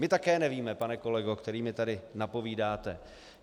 My také nevíme, pane kolego, který mi tady napovídáte.